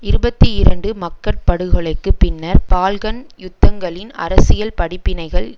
இருபத்தி இரண்டுமக்கட் படுகொலைக்கு பின்னர் பால்கன் யுத்தங்களின் அரசியல் படிப்பினைகள்